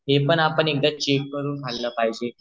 ते पण आपण एकदा चेक करून खाल्लं पाहिजेल